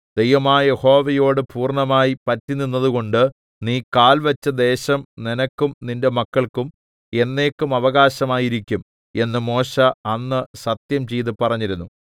ദൈവമായ യഹോവയോട് പൂർണ്ണമായി പറ്റിനിന്നതുകൊണ്ട് നീ കാൽവെച്ച ദേശം നിനക്കും നിന്റെ മക്കൾക്കും എന്നേക്കും അവകാശമായിരിക്കും എന്ന് മോശെ അന്ന് സത്യംചെയ്ത് പറഞ്ഞിരുന്നു